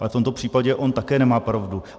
Ale v tomto případě on také nemá pravdu.